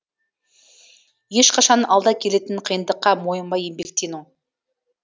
ешқашан алда келетін қиындыққа мойымай еңбектену